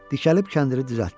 Dikəlib kəndiri düzəltdi.